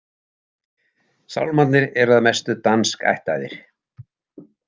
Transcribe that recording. Sálmarnir eru að mestu danskættaðir.